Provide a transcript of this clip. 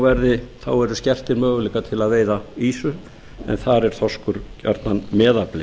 verði skertir möguleikar til að veiða ýsu en þar er þorskur gjarnan meðafli